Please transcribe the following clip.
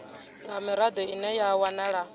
nga mirado ine ya wanala